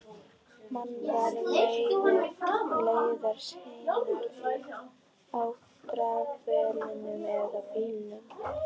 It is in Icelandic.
Menn fara leiðar sinnar á dráttarvélum eða bílum.